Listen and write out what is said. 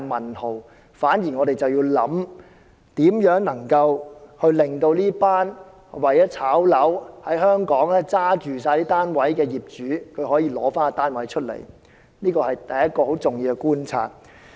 我們反而要思考，如何令這群為了在香港"炒樓"而手持大量單位的業主出售單位，這是第一個很重要的觀察。